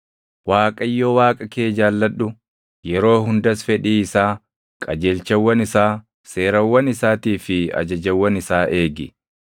Waaqayyo Waaqa kee jaalladhu; yeroo hundas fedhii isaa, qajeelchawwan isaa, seerawwan isaatii fi ajajawwan isaa eegi.